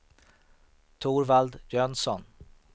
Torvald Jönsson